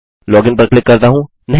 login पर click करता हूँ